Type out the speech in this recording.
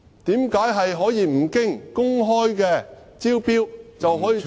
為何可以不經公開招標，便可以將......